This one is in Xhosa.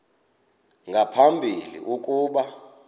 nga phambili ukuba